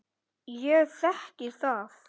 Ég þekki það.